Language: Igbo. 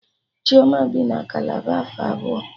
Chioma bi na Kalaba afọ abụọ